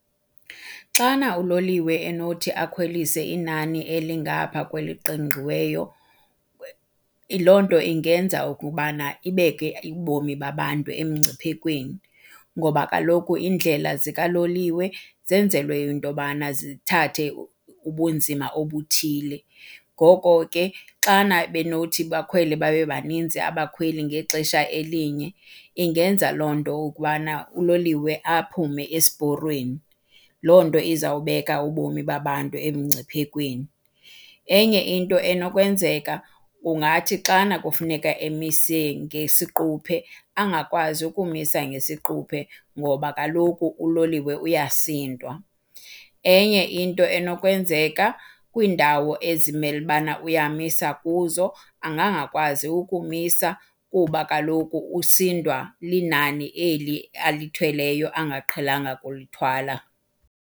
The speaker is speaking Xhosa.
Xana uloliwe enothi akhwelise inani elingapha kweliqingqiweyo loo nto ingenza ukubana ibeke ubomi babantu emngciphekweni ngoba kaloku iindlela zikaloliwe zenzelwe into yobana zithathe ubunzima obuthile. Ngoko ke xana benothi bakhwele babe baninzi abakhweli ngexesha elinye ingenza loo nto ukubana uloliwe aphume esiporweni. Loo nto izawubeka ubomi babantu emngciphekweni. Enye into enokwenzeka, kungathi xana kufuneka emise ngesiquphe angakwazi ukumisa ngesiquphe ngoba kaloku uloliwe uyasindwa. Enye into enokwenzeka, kwiindawo ezimele ubana uyamisa kuzo angangakwazi ukumisa kuba kaloku usindwa linani eli alithweleyo angaqhelanga kulithwala.